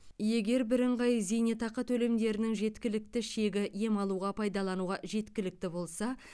егер бірыңғай зейнетақы төлемдерінің жеткіліктік шегі ем алуға пайдалануға жеткілікті болса